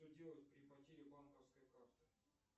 что делать при потере банковской карты